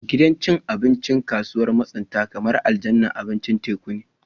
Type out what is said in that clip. Gidan cin abinci a kasuwar masunta kamar aljannar abincin teku ne